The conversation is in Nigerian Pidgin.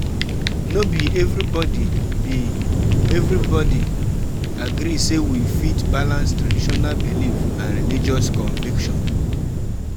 No be everybody be everybody agree sey we fit balance traditional belief and religious conviction